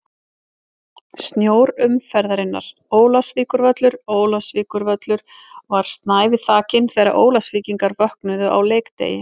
Snjór umferðarinnar: Ólafsvíkurvöllur Ólafsvíkurvöllur var snævi þakinn þegar Ólafsvíkingar vöknuðu á leikdegi.